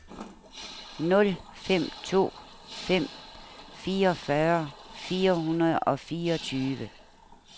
nul fem to fem fireogfyrre fire hundrede og fireogtyve